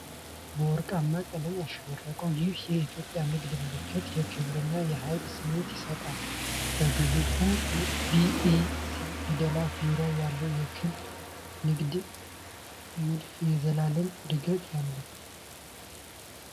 በወርቃማ ቀለም ያሸበረቀው ይህ የኢትዮጵያ ንግድ ምልክት የክብርና የኃይል ስሜት ይሰጣል። በግዙፍ ቢኤሲ ፊደላት ዙሪያ ያለው የክብ ንድፍ የዘላለም ዕድገትን ያመለክታል።